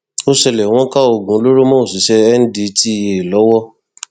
ó ṣẹlẹ wọn ká oògùn olóró mọ òṣìṣẹ ndtea lọwọ